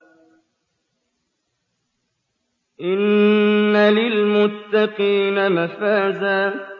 إِنَّ لِلْمُتَّقِينَ مَفَازًا